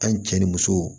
An cɛ ni muso